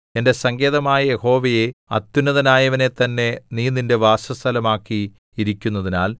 എന്റെ സങ്കേതമായ യഹോവയെ അത്യുന്നതനായവനെത്തന്നെ നീ നിന്റെ വാസസ്ഥലമാക്കി ഇരിക്കുന്നതിനാൽ